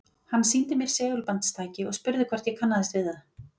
Hann sýndi mér segulbandstæki og spurði hvort ég kannaðist við það.